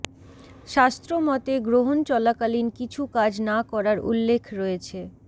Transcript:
শাস্ত্র মতে গ্রহণ চলাকালীন কিছু কাজ না করার উল্লেখ রয়েছে